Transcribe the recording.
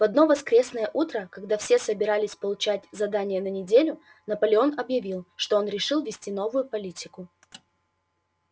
в одно воскресное утро когда все собирались получать задания на неделю наполеон объявил что он решил ввести новую политику